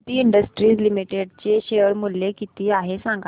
Suditi industries limited चे share मूल्य किती आहे सांगा